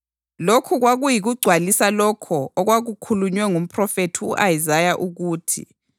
Lokhu kwakuyikugcwalisa lokho okwakukhulunywe ngumphrofethi u-Isaya ukuthi: